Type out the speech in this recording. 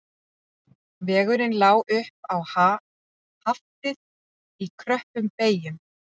Vegurinn lá upp á Haftið í kröppum beyjum